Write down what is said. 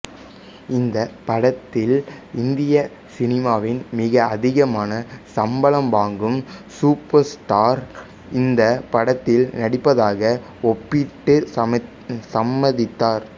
இந்தப் படத்தில் இந்திய சினிமாவில் மிக அதிகமாக சம்பளம் வாங்கும் சூப்பர் ஸ்டார் இந்தப் படத்தில் நடிப்பதாக ஒப்பமிட்டுச் சம்மதித்தார்